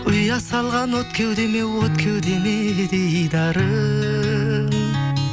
ұя салған от кеудеме от кеудеме дидарың